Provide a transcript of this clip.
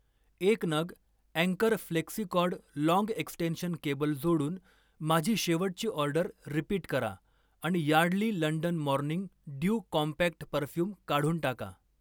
एक नग अँकर फ्लेक्सिकॉर्ड लाँग एक्सटेंशन केबल जोडून माझी शेवटची ऑर्डर रिपीट करा आणि Yardley London morning dew compact perfume काढून टाका.